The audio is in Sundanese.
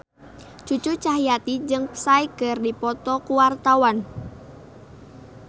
Cucu Cahyati jeung Psy keur dipoto ku wartawan